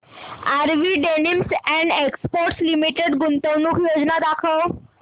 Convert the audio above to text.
RV denims and exports limited गुंतवणूक योजना दाखव